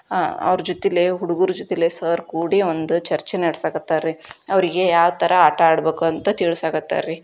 ಅವರ ಜೊತೆಯಲ್ಲಿ ಹುಡುಗುರ್ ಜೊತೆಯಲ್ಲೇ ಸರ್ ಕುಡಿ ಒಂದು ಚರ್ಚೆ ನಡೆ ಸಕರ್ತಾರಿ ಅವರಿಗೆ ಯಾವ ತರ ಆಟ ಆಡಬೇಕು ಅಂತ ತಿಳಿಸ ಕರ್ತಾರಿ.